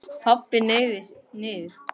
Pabbi hneig niður.